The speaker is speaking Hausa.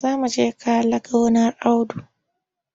Za mu je kale gonar Audu.